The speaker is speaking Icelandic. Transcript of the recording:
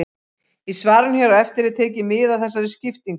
Í svarinu hér á eftir er tekið mið af þessari skiptingu.